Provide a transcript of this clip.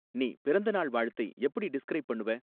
நீ பிறந்தநாள் வாழ்த்தை எப்படி டிஸ்கிரைப் பண்ணுவ